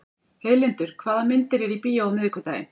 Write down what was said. Heiðlindur, hvaða myndir eru í bíó á miðvikudaginn?